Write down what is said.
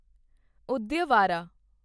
Udyavara